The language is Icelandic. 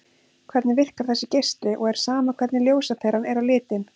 Hvernig virkar þessi geisli og er sama hvernig ljósaperan er á litinn?